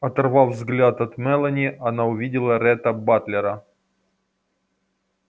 оторвав взгляд от мелани она увидела ретта батлера